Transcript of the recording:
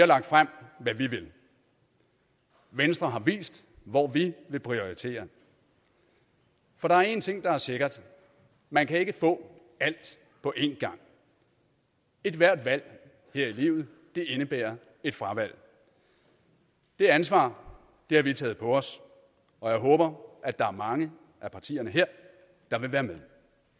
lagt frem hvad vi vil i venstre har vi vist hvor vi vil prioritere for der er en ting der er sikker man kan ikke få alt på en gang ethvert valg her i livet indebærer et fravalg det ansvar har vi taget på os og jeg håber at der er mange af partierne her der vil være med